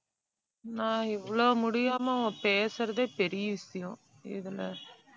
நான் இவ்ளோ முடியாம பேசுறதே பெரிய விஷயம். இதுல